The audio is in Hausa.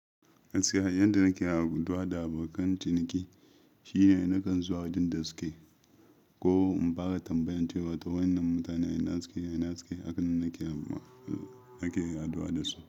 Gaskiya, yanda nake haɗuwa da abokan ciniki shine na kan zuwa wajen da suke koh in fara tambayan cewa wainnan mutanen ina suke ina suke akan nike haduwa dasu.